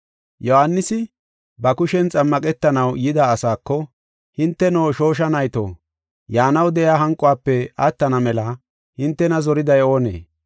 Yohaanisi, ba kushen xammaqetanaw yida asaako, “Hinteno, shoosha nayto yaanaw de7iya hanquwafe attana mela hintena zoriday oonee?